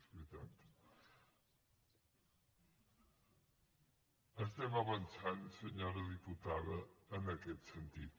estem avançant senyora diputada en aquest sentit